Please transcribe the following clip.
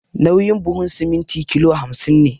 Nauyin buhun siminti kilo hamsin ne